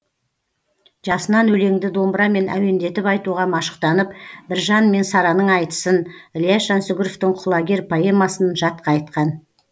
жасынан өлеңді домбырамен әуендетіп айтуға машықтанып біржан мен сараның айтысын ілияс жансүгіровтің құлагер поэмасын жатқа айтқан